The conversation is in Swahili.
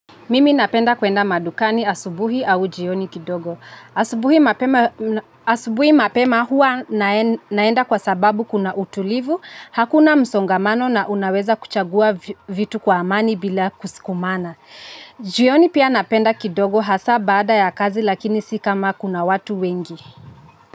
Mimi napenda kuenda madukani asubuhi au jioni kidogo. Asubuhi mapema huwa naenda kwa sababu kuna utulivu, hakuna msongamano na unaweza kuchagua vitu kwa amani bila kusukumana. Jioni pia napenda kidogo hasa baada ya kazi lakini si kama kuna watu wengi.